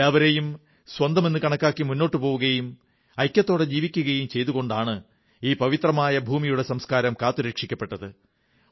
എല്ലാവരെയും സ്വന്തമെന്നു കണക്കാക്കി മുന്നോട്ടു പോവുകയും ഐക്യത്തോടെ ജീവിക്കുകയും ചെയ്തതു കൊണ്ടാണ് ഈ പവിത്രമായ ഭൂമിയുടെ സംസ്കാരം കാത്തുരക്ഷിക്കപ്പെട്ടത്